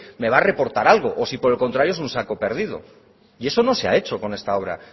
me va a reportar algo o si por el contrario es un saco perdido y eso no se ha hecho con esta obra